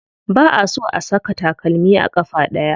Ba a so a saka takalmi a ƙafa ɗaya.